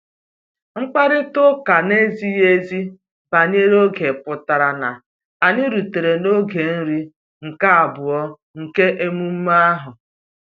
Mkparịta ụka na-ezighi ezi banyere oge pụtara na anyị rutere n'oge nri nke abụọ nke emume ahụ